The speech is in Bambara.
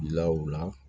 Lawa